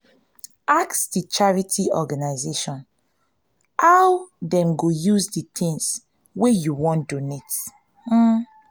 ask di charity organisation how dem go use di things wey you wan donate